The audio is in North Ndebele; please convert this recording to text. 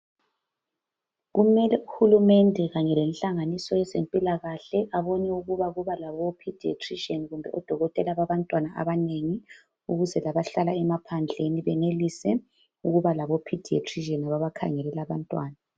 Kumele uhulumende kanye lenhlanganiso yezempilakakhe babone ukuthi kuba labo Pediatrician kumbe odokotela babantwana abanengi, ukuze labahlala emaphandleni benelise ukuba labo Pediatrician ababakhangelela abantwana.